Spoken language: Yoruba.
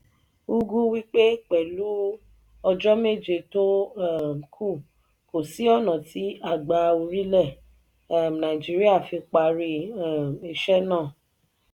ugwu wípé pẹlu ọjọ méje tó um kù kò sí ònà tí àgbà orílẹ̀ um nàìjíríà fi parí um iṣẹ náà.